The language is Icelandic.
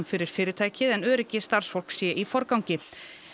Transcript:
fyrir fyrirtækið en öryggi starfsfólks sé í forgangi